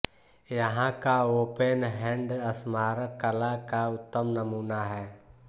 यहाँ का open hand स्मारक कला का उत्तम नमूना है